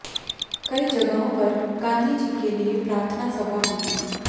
कई जगहों पर गांधी जी के लिए प्रार्थना सभा हुई